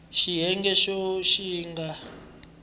xiyenge xo ka xi nga